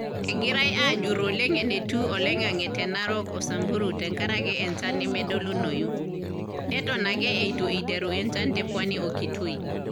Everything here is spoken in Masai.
Egirai aajur oleng enetiu oloing`ang`e te Narok, o Samburu tenkaraki encha nemedolunoyu, neton ake eitu iteru enchan te Pwani o Kitui.